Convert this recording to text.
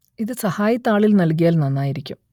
ഇത് സഹായി താളിൽ നൽകിയാൽ നന്നായിരിക്കും